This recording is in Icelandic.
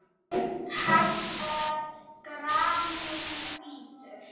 Grimmt haglél garminn bítur.